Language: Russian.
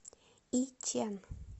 ичэн